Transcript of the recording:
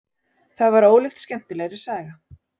Það var ólíkt skemmtilegri saga.